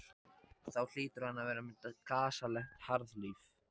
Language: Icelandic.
Þá hlýtur hann að vera með gasalegt harðlífi.